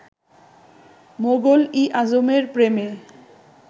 মোগল ই আযমের প্রেমে